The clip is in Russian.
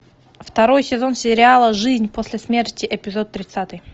второй сезон сериала жизнь после смерти эпизод тридцатый